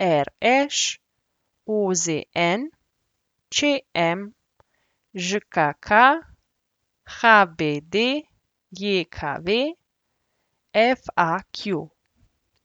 RŠ, OZN, ČM, ŽKK, HBDJKV, FAQ.